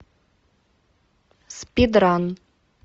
спидран